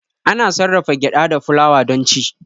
Ana sarrafa gyada da fulawa don ci.